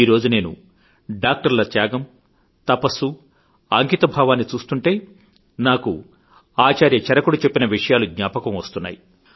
ఈరోజు డాక్టర్ల త్యాగం తపస్సు అంకితభావాన్ని చూస్తుంటే నాకు ఆచార్య చరకుడు చెప్పిన విషయాలు జ్ఞాపకం వస్తున్నాయి